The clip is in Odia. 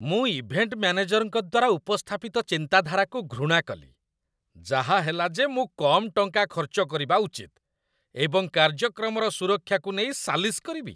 ମୁଁ ଇଭେଣ୍ଟ ମ୍ୟାନେଜରଙ୍କ ଦ୍ୱାରା ଉପସ୍ଥାପିତ ଚିନ୍ତାଧାରାକୁ ଘୃଣା କଲି, ଯାହାହେଲା ଯେ ମୁଁ କମ୍ ଟଙ୍କା ଖର୍ଚ୍ଚ କରିବା ଉଚିତ, ଏବଂ କାର୍ଯ୍ୟକ୍ରମର ସୁରକ୍ଷାକୁ ନେଇ ସାଲିସ କରିବି।